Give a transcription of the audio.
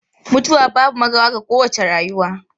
Mutuwa babu makawa ga kowace rayuwa.